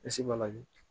Bilisi mali